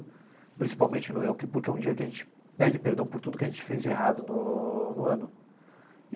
Principalmente no Yom Kippur que é um dia que a gente pede perdão por tudo que a gente fez de errado no no ano.